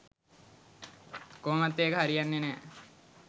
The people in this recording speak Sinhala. කොහොමත් ඒක හරියන්නේ නෑ.